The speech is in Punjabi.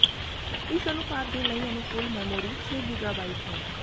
ਇਸ ਉਤਪਾਦ ਦੇ ਲਈ ਅਨੁਕੂਲ ਮੈਮੋਰੀ ਛੇ ਗੀਗਾਬਾਈਟ ਹੈ